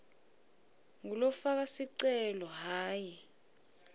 ngulofaka sicelo hhayi